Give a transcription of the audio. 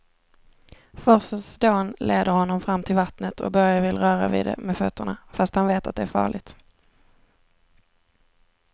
Forsens dån leder honom fram till vattnet och Börje vill röra vid det med fötterna, fast han vet att det är farligt.